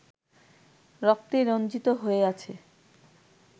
রক্তে রঞ্জিত হয়ে আছে